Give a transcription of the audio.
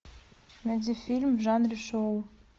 найди фильм в жанре шоу